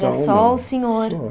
Era só o senhor? Só